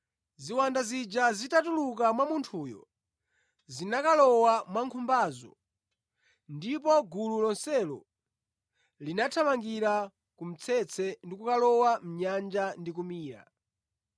Ziwanda zija zitatuluka mwa munthuyo, zinakalowa mwa nkhumbazo, ndipo gulu lonselo linathamangira ku mtsetse ndi kukalowa mʼnyanja ndi kumira.